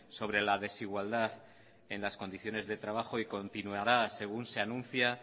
sobre la desigualdad en las condiciones de trabajo y continuará según se anuncia